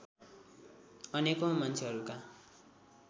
अनेकौं मान्छेहरूका